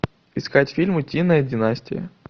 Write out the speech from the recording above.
искать фильм утиная династия